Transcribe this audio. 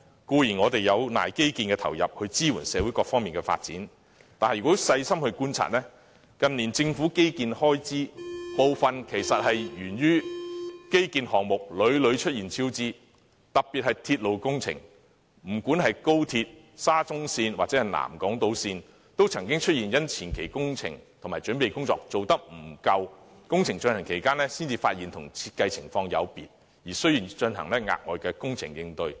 固然，我們有賴基建的投入來支援社會各方發展，但如果細心觀察，近年政府的基建開支增加其實源於項目屢屢出現超支，特別是鐵路工程，不論是高鐵、沙中線或南港島線，都曾因為前期工程和準備工作不足，在工程進行期間才發現有設計問題，需要進行額外工程應對。